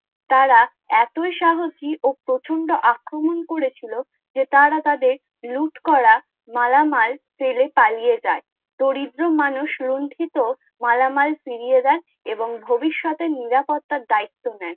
তারা এতই সাহসী ও প্রচন্ড আক্রমণ করে ছিলো, যে তারা তা দেখ লুট করা মালা মাল ফেলে পালিয়ে যায়, দরিদ্র মানুষ লুণ্ঠিত মালা মাল ফিরিয়ে দেয় এবং ভবিষ্যও নিরাপত্তার দায়িত্ব নেয়